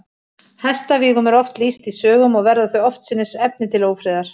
Hestavígum er oft lýst í sögum, og verða þau oftsinnis efni til ófriðar.